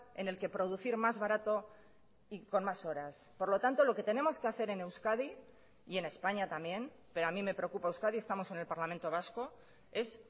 en el que producir más barato y con más horas por lo tanto lo que tenemos que hacer en euskadi y en españa también pero a mí me preocupa euskadi estamos en el parlamento vasco es